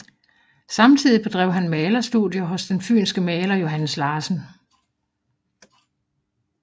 Samtidig bedrev han malerstudier hos den fynske maler Johannes Larsen